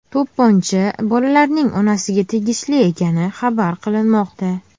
To‘pponcha bolalarning onasiga tegishli ekani xabar qilinmoqda.